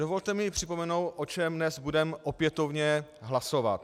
Dovolte mi připomenout, o čem dnes budeme opětovně hlasovat.